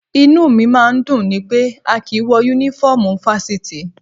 Inú mi máa ń dùn ni pé a kì í wọ Únífọ́ọ̀mù Fáṣítì